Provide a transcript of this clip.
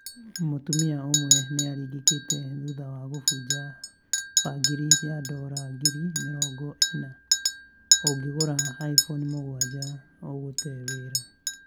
Mũtumia ũmwe nĩ aringĩkĩte thutha wa kũbunja bangĩri ya dora ngiri mĩrongo ĩna 'Ũngĩgũra iPhone 7, ũgũte wĩra